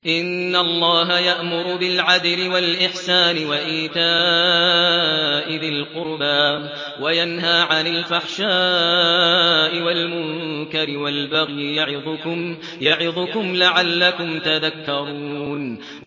۞ إِنَّ اللَّهَ يَأْمُرُ بِالْعَدْلِ وَالْإِحْسَانِ وَإِيتَاءِ ذِي الْقُرْبَىٰ وَيَنْهَىٰ عَنِ الْفَحْشَاءِ وَالْمُنكَرِ وَالْبَغْيِ ۚ يَعِظُكُمْ لَعَلَّكُمْ تَذَكَّرُونَ